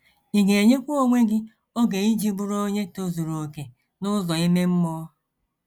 Ị ga - enyekwa onwe gị oge iji bụrụ onye tozuru okè n’ụzọ ime mmụọ.